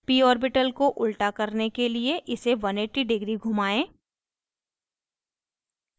p orbital को उल्टा करने के लिए इसे 180 degree घुमाएं